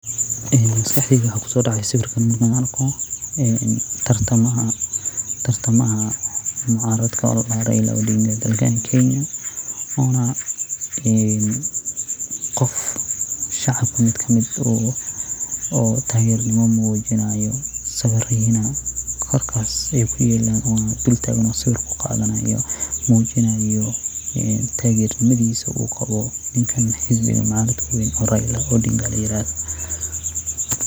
Maskaxdayda waxaa kusoo dhacaya sawirkan markaan arko tartamayaaha mucaaradka oo la yiraahdo Raila Odinga, oo dalka Kenya waa qof shacabku mid ka mid ah oo taageeradiisa muujinayo. Sawirradaas halkaas bay ku yaallaan, wuu kor taagan yahay oo sawir ayuu qaadanayaa isagoo muujinayo taageeradiisa uu u qabo ninkaan oo xisbiga mucaaradka weyn ee Raila Odinga la yiraahdo.